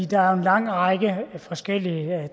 der er jo en lang række forskellige